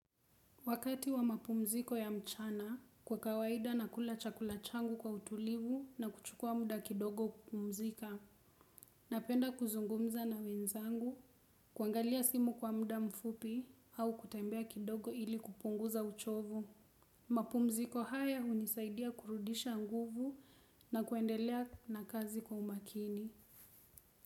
Wakati wa mapumziko ya mchana, kwa kawaida nakula chakula changu kwa utulivu na kuchukua muda kidogo kupumzika. Napenda kuzungumza na wenzangu, kuangalia simu kwa muda mfupi au kutembea kidogo ili kupunguza uchovu. Mapumziko haya hunisaidia kurudisha nguvu na kuendelea na kazi kwa umakini.